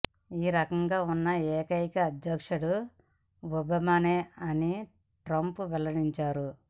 ఈ రకంగా ఉన్న ఏకైక అధ్యక్షుడు ఒబామానే అని ట్రంప్ వెల్లడిచారు